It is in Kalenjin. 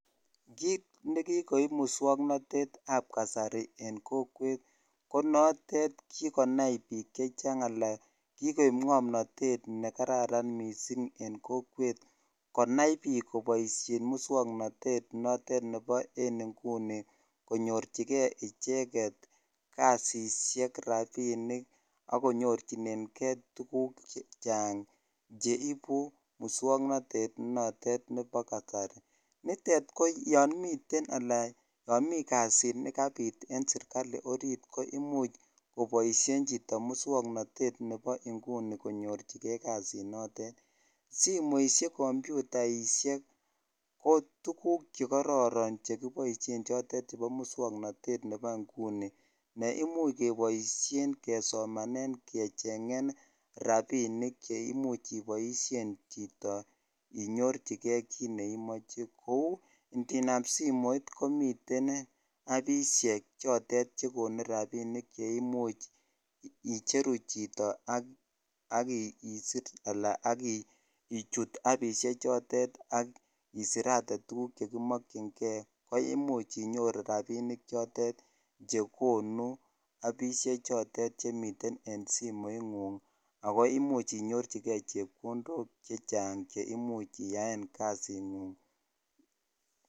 Kiit nekikoiip musomnotete ap kasarii konaii piik kopaisheen musomnatet ak komuch konetkeii tuguun chechaang neaa simoisheek kompyutaiisheek cheimuuch keipaisheen anan kokechangee rapisheek kouuu miteii simet netindaii appisheek cheimuuch inyoruu rapisheek chachaang cheimuuch iaee poishonii nchutok